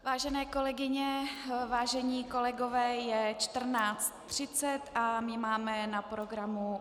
Vážené kolegyně, vážení kolegové, je 14.30 a my máme na programu